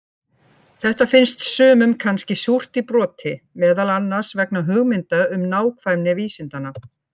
Þetta finns sumum kannski súrt í broti, meðal annars vegna hugmynda um nákvæmni vísindanna.